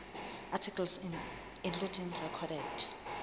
articles including recorded